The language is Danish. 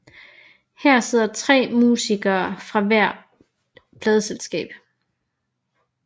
Her sidder tre musikere fra hvert pladeselskab